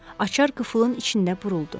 Açar qıfılın içində buruldu.